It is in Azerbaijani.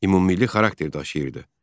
Ümumilli xarakter daşıyırdı.